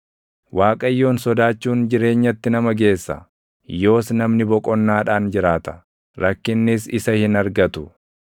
Waaqayyoon sodaachuun jireenyatti nama geessa; yoos namni boqonnaadhaan jiraata; // rakkinnis isa hin argatu.